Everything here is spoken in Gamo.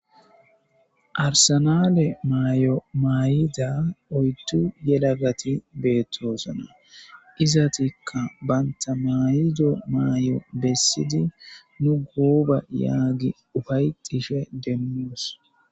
arsenale maayo mayida oyttu yelagati beettoosana izatikka banta mayido maayo bessidi nu guuba yaagi ufayxishe demmuos